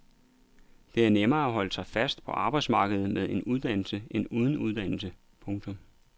Det er nemmere at holde sig fast på arbejdsmarkedet med en uddannelse end uden uddannelse. punktum